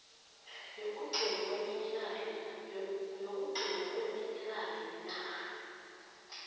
yokugcinwa kweminerali nenarha